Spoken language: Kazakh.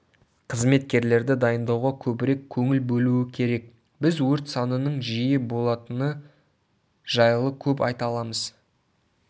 қызметкерлерді дайындауға көбірек көңіл бөлуі керек біз өрт санының жиі болатыны жайлы көп айта аламыз